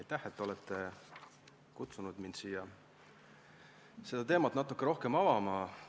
Aitäh, et olete kutsunud mind siia seda teemat natuke rohkem avama!